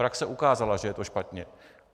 Praxe ukázala, že je to špatně.